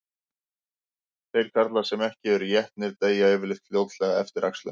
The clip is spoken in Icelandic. Þeir karlar sem ekki eru étnir deyja yfirleitt fljótlega eftir æxlun.